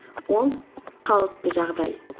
ол қалыпты жағдай